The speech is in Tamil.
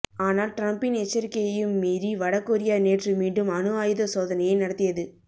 ஆனால் டிரம்பின் எச்சரிக்கையையும் மீறி வட கொரியா நேற்று மீண்டும் அணு ஆயுத சோதனையை நடத்தியது